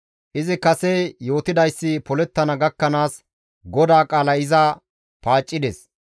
Izi kase yootidayssi polettana gakkanaas GODAA qaalay iza paaccides.